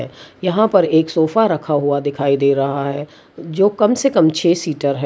यहां पर एक सोफा रखा हुआ दिखाई दे रहा है जो कम से कम छ सीटर है।